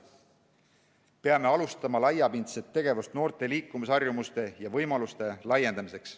Peame alustama laiapindset tegevust noorte liikumisharjumuste ja -võimaluste laiendamiseks.